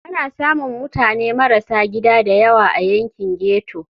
Ana samun mutane marasa gida da yawa a yankin ghetto.